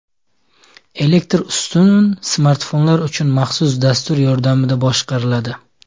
Elektr ustun smartfonlar uchun maxsus dastur yordamida boshqariladi.